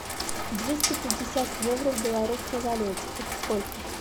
двести пятьдесят евро в белорусской валюте это сколько